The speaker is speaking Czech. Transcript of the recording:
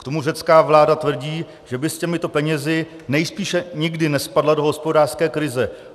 K tomu řecká vláda tvrdí, že by s těmito penězi nejspíše nikdy nespadla do hospodářské krize.